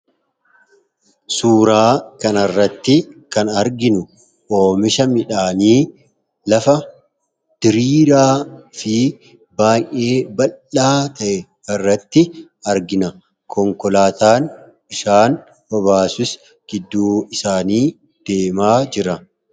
Suuraa kanarratti kan arginu oomisha midhaanii lafa diriiraa fi baay'ee baldhaa ta'e irratti argina. Konkolaataan bishaan obaasus gidduu isaanii deemaa jira.